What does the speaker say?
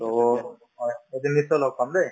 to হয় এদিন নিশ্চয় লগ পাম দে